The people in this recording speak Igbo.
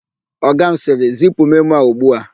Ọga m sịrị, "zipu memo a ugbua"!